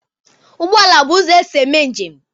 Ụgbọala bụ ụzọ e si eme njem